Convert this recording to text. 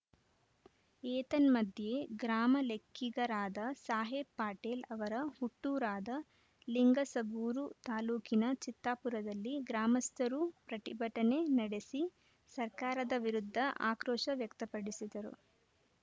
ಏತನ್ಮಧ್ಯೆ ಗ್ರಾಮ ಲೆಕ್ಕಿಗರಾದ ಸಾಹೇಬ್‌ ಪಟೇಲ್‌ ಅವರ ಹುಟ್ಟೂರಾದ ಲಿಂಗಸಗೂರು ತಾಲೂಕಿನ ಚಿತ್ತಾಪುರದಲ್ಲಿ ಗ್ರಾಮಸ್ಥರೂ ಪ್ರತಿಭಟನೆ ನಡೆಸಿ ಸರ್ಕಾರದ ವಿರುದ್ಧ ಆಕ್ರೋಶ ವ್ಯಕ್ತಪಡಿಸಿದರು